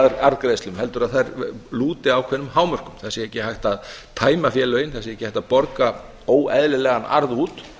arðgreiðslum heldur að þær lúti ákveðnum hámörkum það sé ekki hægt að tæma félögin það sé ekki hægt að borga óeðlilegan arð út